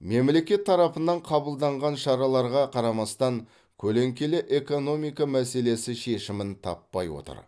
мемлекет тарапынан қабылданған шараларға қарамастан көлеңкелі экономика мәселесі шешімін таппай отыр